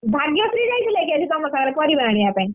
ଭାଗ୍ୟଶ୍ରୀ ଯାଇଥିଲା କି ଆଜି ତମ ସାଙ୍ଗରେ ପରିବା ଆଣିବା ପାଇଁ?